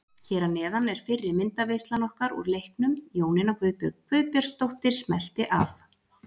Hér að neðan er fyrri myndaveislan okkar úr leiknum, Jónína Guðbjörg Guðbjartsdóttir smellti af.